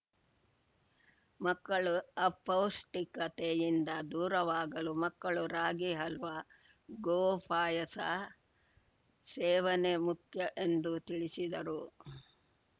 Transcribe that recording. ಮಕ್ಕಳು ಅಪೌಷ್ಟಿಕತೆಯಿಂದ ದೂರವಾಗಲು ಮಕ್ಕಳು ರಾಗಿ ಹಲ್ವಾ ಗೋ ಪಾಯಸ ಸೇವನೆ ಮುಖ್ಯ ಎಂದು ತಿಳಿಸಿದರು